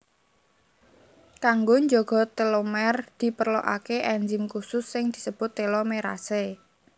Kanggo njaga telomer diperlokaké enzim khusus sing disebut telomerase